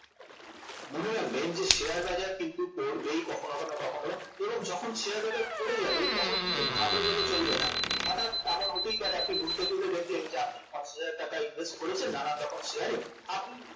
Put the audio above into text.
মনে রাখবেন যে শেয়ার বাজার কিন্তু পড়বেই কখনো না কখনো এবং যখন শেয়ার বাজার পড়ে যাবে তখন কিন্তু ঘাবড়ে গেলে চলবে না হঠাৎ এমন হতেই পারে আপনি ঘুম থেকে উঠে দেখলেন যে আপনি পঞ্চাশ হাজার টাকার invest করেছেন নানান রকম শেয়ারে